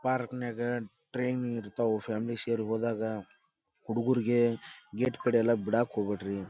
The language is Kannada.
ಪಾರ್ಕ್ನ್ಯಾಗ ಟ್ರೈನ್ ಇರ್ತಾವು ಫ್ಯಾಮಿಲಿ ಷೇರ್ ಗೆ ಹೋದಾಗ ಹುಡುಗೂರಿಗೆ ಗೇಟ್ ಕಡೇ ಬಿಡಕ್ಕ ಹೋಗ್ಬ್ಯಾಡ್ರಿ.